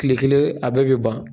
Tile kelen a bɛ bɛ ban.